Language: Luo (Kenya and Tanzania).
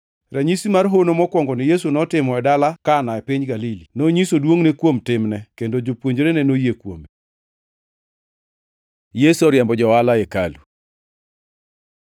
Ranyisi mar hono mokwongoni Yesu notimo e dala Kana e piny Galili. Nonyiso duongʼne kuom timne, kendo jopuonjrene noyie kuome. Yesu oriembo jo-ohala e hekalu